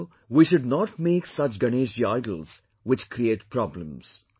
So, we should not make such Ganeshji idols, which create problems